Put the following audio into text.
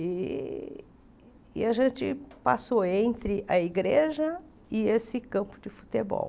E e a gente passou entre a igreja e esse campo de futebol.